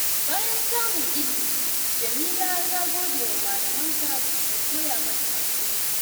Bayan samun ilimi, Jameela ta gode wa malamanta da suka koya mata haƙuri.